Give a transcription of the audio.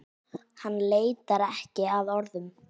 Hann leitar ekki að orðum.